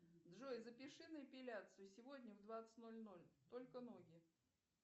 джой запиши на эпиляцию сегодня в двадцать ноль ноль только ноги